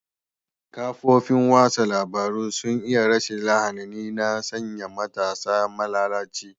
Kafofin watsa labarun sun yi rashin lahani na sanya matasa malalaci.